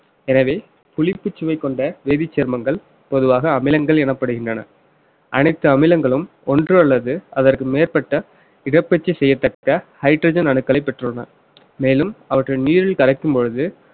எனவே புளிப்பு சுவை கொண்ட வேதிச்சேர்மங்கள் பொதுவாக அமிலங்கள் எனப்படுகின்றன அனைத்து அமிலங்களும் ஒன்றல்லது அதற்கு மேற்பட்ட இடப்பயிற்சி செய்யத்தக்க hydrogen அணுக்களை பெற்றுள்ளன மேலும் அவற்றின் நீரில் கரைக்கும் பொழுது